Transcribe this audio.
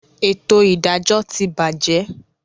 Etò ìdájọ́ ti bàjé